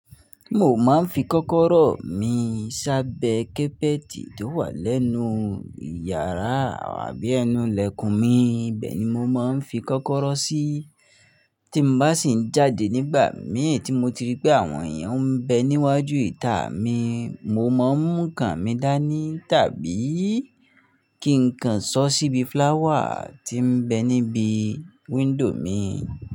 Mo máa ń fi kọ́kọ́rọ́ mi sábẹ́ kẹ́pẹ́tì tó wà lẹ́nu ìyàrá àbí ẹnu ìlẹ̀kùn mi. Ibe ni mo máa ń fi kọ́kọ́rọ́ sí. Tí mo bá sì ń jáde nígbà mìí tí mo ti rí pé àwọn èèyàn ń bẹ níwájú ìta mi, mo máa ń mú kàn mí dání tàbí kí n kan sọ́ síbi flower tí ń bẹ níbi window mi.